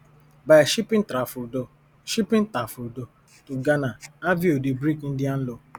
by shipping tafrodol shipping tafrodol to ghana aveo dey break indian law